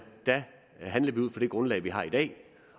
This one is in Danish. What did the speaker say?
grundlag vi har i dag